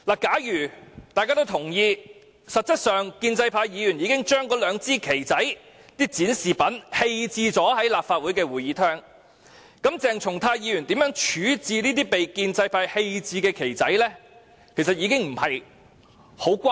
假如大家都同意建制派議員實質上已把那兩支小旗或展示品棄置在立法會會議廳，那麼鄭松泰議員怎樣處置有關物品已經沒甚麼關係。